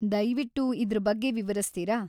‌ದಯ್ವಿಟ್ಟು ಇದ್ರ ಬಗ್ಗೆ ವಿವರಿಸ್ತೀರಾ?